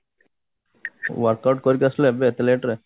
workout କରିକି ଆସିଲ ଏବେ ଏତେ late ରେ